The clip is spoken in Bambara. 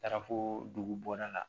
Taara fo dugubaara la